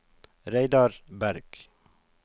Reidar Bergh